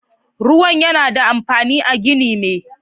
Ruwan yana da amfani a ginin me.